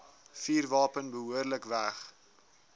vuurwapen behoorlik weg